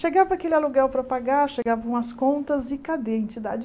Chegava aquele aluguel para pagar, chegavam as contas e cadê a entidade?